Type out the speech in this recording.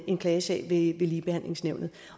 en klagesag ved ligebehandlingsnævnet